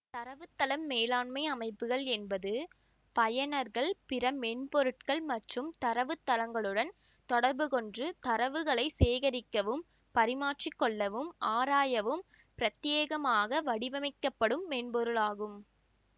தரவுத்தளம் மேலாண்மை அமைப்புகள் என்பது பயனர்கள் பிற மென்பொருட்கள் மற்றும் தரவுத்தளங்களுடன் தொடர்பு கொண்டு தரவுகளை சேகரிக்கவும் பரிமாற்றி கொள்ளவும் ஆராயவும் பிரத்யேகமாக வடிவமைக்கப்படும் மென்பொருளாகும்